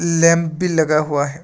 Lamp भी लगा हुआ है।